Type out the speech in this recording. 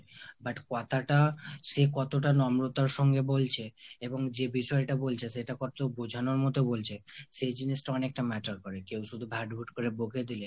but কথাটা সে কতটা নম্রতার সঙ্গে বলছে এবং যে বিষয়টা বলছে সেটা কতটা বুজানোর মতো বলছে, সে জিনিসটা অনেকটা matter করে। কেউ শুধু ঘাট ঘুট করে বকে দিলে